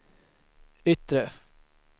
yttre